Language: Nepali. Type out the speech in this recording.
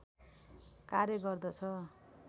कार्य गर्दछ